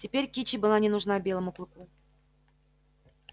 теперь кичи была не нужна белому клыку